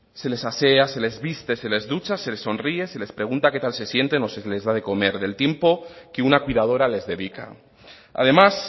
se les asea se les viste se les ducha se les sonríe se les pregunta qué tal se sienten o se les da de comer del tiempo que una cuidadora les dedica además